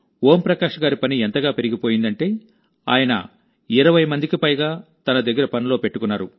ఓం ప్రకాష్ గారి పని ఎంతగా పెరిగిపోయిందంటే ఆయన 20 మందికి పైగా తన దగ్గర పనిలో పెట్టుకున్నారు